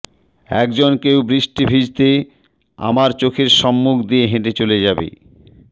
একজন কেউ বৃষ্টি ভিজতে আমার চোখের সম্মুখ দিয়ে হেঁটে চলে যাবে